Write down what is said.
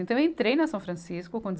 Então eu entrei na São Francisco com deze